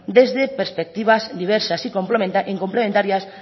desde perspectivas diversas y complementarias